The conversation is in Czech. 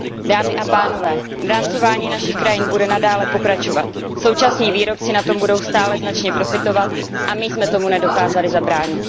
Dámy a pánové, drancování našich krajin bude nadále pokračovat, současní výrobci na tom budou stále značně profitovat a my jsme tomu nedokázali zabránit.